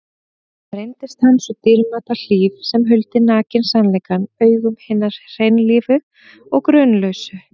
Reyndist hann sú dýrmæta hlíf sem huldi nakinn sannleikann augum hinna hreinlífu og grunlausu.